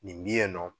Nin bi yen nɔ